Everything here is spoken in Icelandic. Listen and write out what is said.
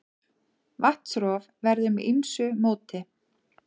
Vatnsrof verður með ýmsu móti.